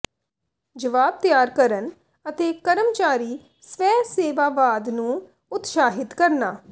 ਜਵਾਬ ਤਿਆਰ ਕਰਨ ਅਤੇ ਕਰਮਚਾਰੀ ਸਵੈਸੇਵਾਵਾਦ ਨੂੰ ਉਤਸ਼ਾਹਿਤ ਕਰਨਾ